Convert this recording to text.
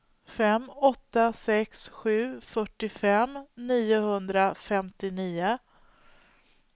fem åtta sex sju fyrtiofem niohundrafemtionio